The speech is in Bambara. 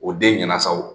O den ɲɛnasaw